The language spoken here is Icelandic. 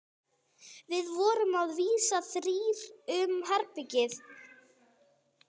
Við vorum að vísu þrír um herbergið.